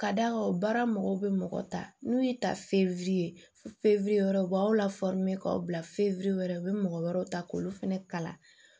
Ka d'a kan baara mɔgɔw bɛ mɔgɔ ta n'u y'i ta fefe ye wɛrɛ u b'aw la k'aw bila fewu yɛrɛ u bɛ mɔgɔ wɛrɛw ta k'olu fɛnɛ kalan